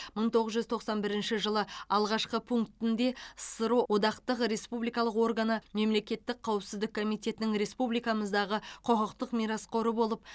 мың тоғыз жүз тоқсан бірінші жылы алғашқы пунктінде ссро одақтық республикалық органы мемлекеттік қауіпсіздік комитетінің республикамыздағы құқықтық мирасқоры болып